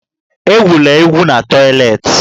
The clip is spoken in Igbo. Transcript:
Egwula egwu n'toịletị!